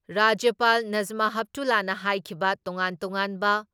ꯔꯥꯖ꯭ꯌꯄꯥꯜ ꯅꯥꯖꯃꯥ ꯍꯦꯞꯇꯨꯂꯥꯅ ꯍꯥꯏꯈꯤꯕ ꯇꯣꯉꯥꯟ ꯇꯣꯉꯥꯟꯕ